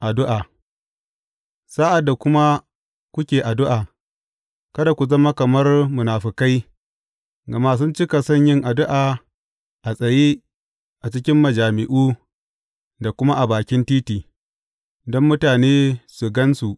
Addu’a Sa’ad da kuma kuke addu’a, kada ku zama kamar munafukai, gama sun cika son yin addu’a a tsaye a cikin majami’u da kuma a bakin titi, don mutane su gan su.